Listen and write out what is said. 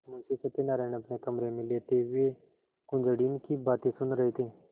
मुंशी सत्यनारायण अपने कमरे में लेटे हुए कुंजड़िन की बातें सुन रहे थे